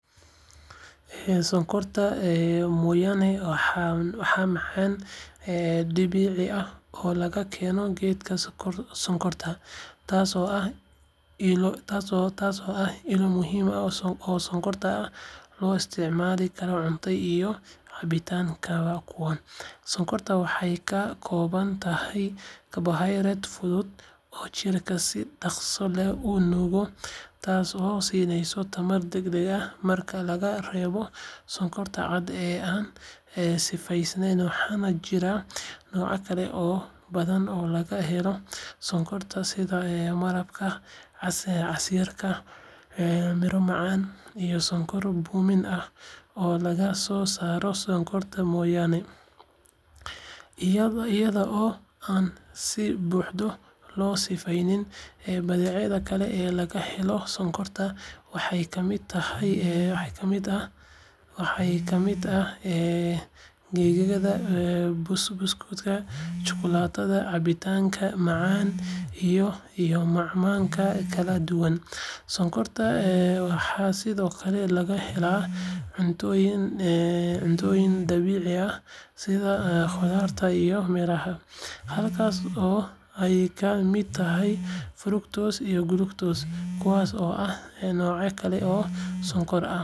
Sonkorta mooyaane waa macaan dabiici ah oo laga helo geedka sonkorta, taasoo ah ilo muhiim ah oo sonkor ah oo loo isticmaalo cuntada iyo cabitaanada kala duwan. Sonkorta waxay ka kooban tahay carbohydrates fudud oo jirka si dhaqso leh u nuugo, taasoo siinaysa tamar degdeg ah. Marka laga reebo sonkorta cad ee aan sifaysan, waxaa jira noocyo kale oo badan oo laga helo sonkorta, sida malabka, casiirka miro macaan, iyo sonkorta bunni ah oo laga soo saaro sonkorta mooyaane iyada oo aan si buuxda loo sifayn. Badeecadaha kale ee laga helo sonkorta waxaa ka mid ah keegagga, buskudka, shukulaatada, cabitaanada macaan, iyo macmacaanka kala duwan. Sonkorta waxaa sidoo kale laga helaa cuntooyin dabiici ah sida khudaarta iyo miraha, halkaas oo ay ka mid tahay fructose iyo glucose, kuwaas oo ah noocyo kale oo sonkor ah oo jirka isticmaalo. Sonkorta mooyaane iyo badeecadaha laga helo waxay door muhiim ah ka ciyaaraan dhaqaalaha iyo nolosha dadka, laakiin waxaa muhiim ah in si dhexdhexaad ah loo isticmaalo si looga hortago dhibaatooyinka caafimaad ee la xiriira sonkorta badan.